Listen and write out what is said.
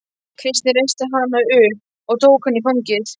Kristín reisti hana upp og tók hana í fangið.